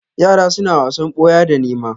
Yara suna wasan boya da nēma.